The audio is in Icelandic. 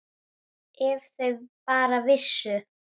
Ef þau bara vissu!